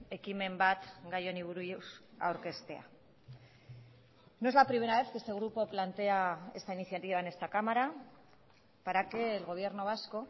ekimen bat gai honi buruz aurkeztea no es la primera vez que este grupo plantea esta iniciativa en esta cámara para que el gobierno vasco